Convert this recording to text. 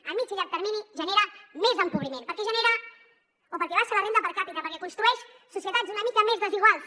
a mitjà i llarg termini genera més empobriment perquè genera o perquè baixa la renda per càpita perquè construeix societats una mica més desiguals